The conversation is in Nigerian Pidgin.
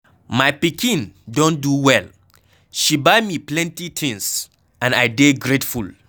My pikin don do well, she buy me plenty things and I dey grateful.